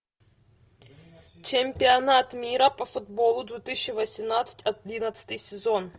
чемпионат мира по футболу две тысячи восемнадцать одиннадцатый сезон